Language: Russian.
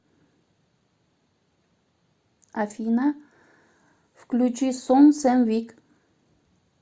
афина включи сон сэм вик